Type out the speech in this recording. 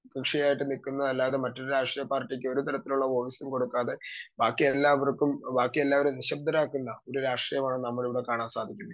Speaker 2 കൃഷി ആയിട്ട് നിക്കുന്ന അല്ലാതെ ഒരു രാഷ്ട്രീയ പാർട്ടിക്കും ഒരു തരത്തിലുള്ള വോയിസും കൊടുക്കാതെ ബാക്കിയെല്ലാവർക്കും ബാക്കിയെല്ലാവരും നിശബ്ദരാക്കുന്ന ഒരു രാഷ്ട്രീയമാണ് നമുക്ക് ഇവിടെ കാണാൻ സാധിക്കുന്നത്.